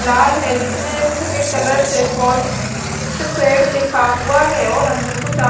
लाल है जिसमे सफ़ेद कलर से फोसट पेड लिखा हुआ है और अंदर कुछ अद --